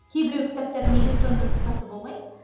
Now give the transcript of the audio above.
кейбіреу кітаптардың электронды нұсқасы болмайды